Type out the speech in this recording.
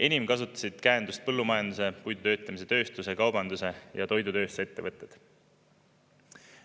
Enim kasutasid käendust põllumajanduse, puidutöötlemistööstuse, kaubandus- ja toidutööstusettevõtted.